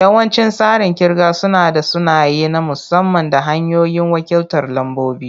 Yawancin tsarin kirga suna da sunaye na musamman da hanyoyin wakiltar lambobi.